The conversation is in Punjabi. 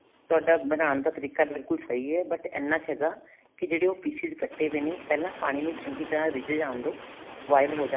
ਤੁਹਾਡਾ ਬਣਾਉਣ ਦਾ ਤਰੀਕਾ ਬਿਲਕੁਲ ਸਹੀ ਹੈ but ਇੰਨਾ ਕ ਹੈਗਾ ਕੀ ਜਿਹੜੇ ਉਹ pieces ਕੱਟੇ ਪਏ ਨੇ ਪਹਿਲਾਂ ਪਾਣੀ ਨੂੰ ਚੰਗੀ ਤਰ੍ਹਾਂ ਰਿੱਝ ਜਾਣ ਦੋ boil ਹੋ